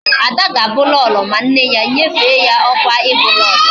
Ada ga Abu Lolo, ma nne ya nyefe ya okwa ibu lolo